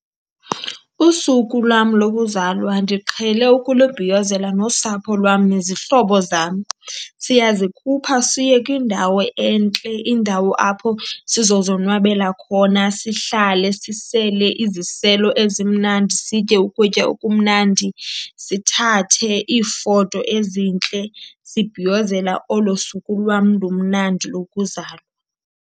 Usuku lwam lokuzalwa ndiqhele ukulubhiyozela nosapho lwam nezihlobo zam. Siyazikhupha siye kwindawo entle, indawo apho sizozonwabela khona. Sihlale sisele iziselo ezimnandi, sitye ukutya okumnandi, sithathe iifoto ezintle sibhiyozela olo suku lwam lumnandi lokuzalwa.